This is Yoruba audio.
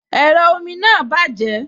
Ẹ̀rọ omi náà bàjẹ́